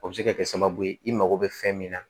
O bɛ se ka kɛ sababu ye i mago bɛ fɛn min na